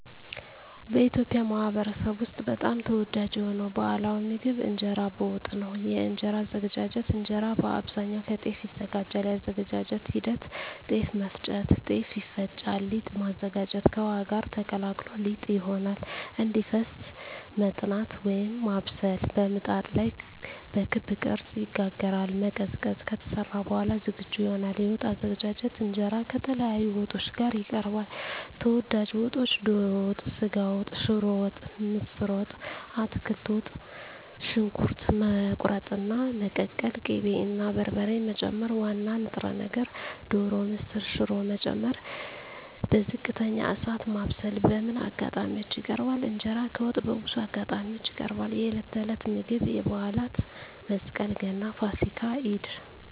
በኢትዮጵያ ማኅበረሰብ ውስጥ በጣም ተወዳጅ የሆነው ባሕላዊ ምግብ እንጀራ በወጥ ነው። የእንጀራ አዘገጃጀት እንጀራ በአብዛኛው ከጤፍ ይዘጋጃል። የአዘገጃጀት ሂደት ጤፍ መፍጨት – ጤፍ ይፈጫል ሊጥ ማዘጋጀት – ከውሃ ጋር ተቀላቅሎ ሊጥ ይሆናል እንዲፈስ መጥናት (ማብሰል) – በምጣድ ላይ በክብ ቅርጽ ይጋገራል መቀዝቀዝ – ከተሰራ በኋላ ዝግጁ ይሆናል የወጥ አዘገጃጀት እንጀራ ከተለያዩ ወጦች ጋር ይቀርባል። ተወዳጅ ወጦች ዶሮ ወጥ ስጋ ወጥ ሽሮ ወጥ ምስር ወጥ አትክልት ወጥ . ሽንኩርት መቁረጥና መቀቀል ቅቤ እና በርበሬ መጨመር ዋና ንጥረ ነገር (ዶሮ፣ ምስር፣ ሽሮ…) መጨመር በዝቅተኛ እሳት ማብሰል በምን አጋጣሚዎች ይቀርባል? እንጀራ ከወጥ በብዙ አጋጣሚዎች ይቀርባል፦ የዕለት ተዕለት ምግብ የበዓላት (መስቀል፣ ገና፣ ፋሲካ፣ ኢድ)